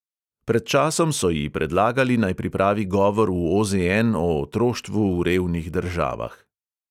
Pred časom so ji predlagali, naj pripravi govor v OZN o otroštvu v revnih državah.